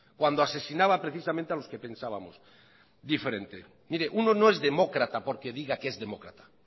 cuando asesinaba precisamente a los que pensábamos diferente mire uno no es demócrata porque diga que es demócrata